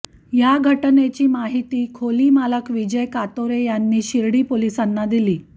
या घटनेची माहिती खोलीमालक विजय कातोरे यांनी शिर्डी पोलिसांना दिली